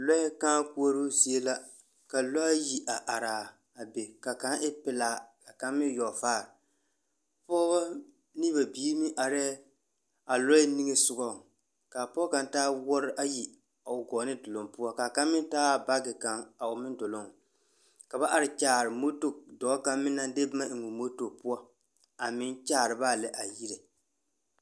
Lɔɛ kãã koɔroo zie la, ka lɔɛ ayi a are a be, ka kaŋa e pelaa ka kaŋ meŋ e yɔgevaare. Pɔgeba ne ba biiri meŋ arɛɛ a lɔɛ niŋe sogaŋ. Ka a pɔge kaŋ taa wooroe ayi o gɔɔne doloŋ poŋ ka kaŋ meŋ taa baage kaŋ o meŋ doloŋ ka ba are kyaar edɔɔ kaŋa meŋ naŋ de boma eŋ o moto poɔ a meŋ kyaar ba a lɛ a yire.